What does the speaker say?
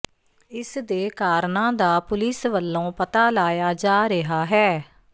ਇਸ ਦੇ ਕਾਰਨਾਂ ਦਾ ਪੁਲਿਸ ਵੱਲੋਂ ਪਤਾ ਲਾਇਆ ਜਾ ਰਿਹਾ ਹੈ